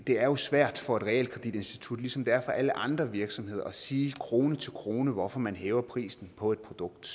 det er jo svært for et realkreditinstitut ligesom det er for alle andre virksomheder at sige krone til krone hvorfor man hæver prisen på produktet